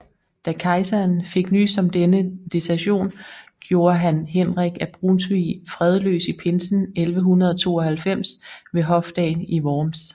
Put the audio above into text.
Da kejseren fik nys om denne desertion gjorde han Henrik af Brunsvig fredløs i pinsen 1192 ved hofdagen i Worms